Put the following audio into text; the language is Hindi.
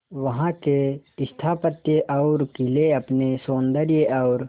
वहां के स्थापत्य और किले अपने सौंदर्य और